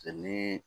ni